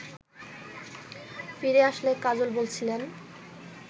ফিরে আসলে কাজল বলছিলেন